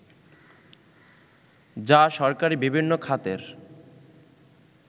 যা সরকারী বিভিন্ন খাতের